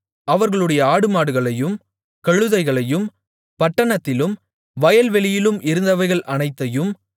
அவர்களுடைய ஆடுமாடுகளையும் கழுதைகளையும் பட்டணத்திலும் வயல்வெளியிலும் இருந்தவைகள் அனைத்தையும்